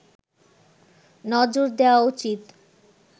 নজর দেওয়া উচিৎ